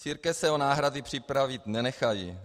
Církve se o náhrady připravit nenechají.